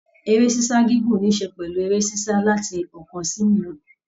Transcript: Eré s'isa gígùn nisè pẹlú eré sisa láti ọkan sì òmíràn.